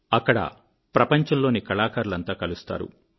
అక్కడ ప్రపంచంలోని కళాకారులంతా కలుస్తారు